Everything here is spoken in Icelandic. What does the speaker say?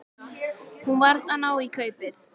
Hún varð að ná í kaupið.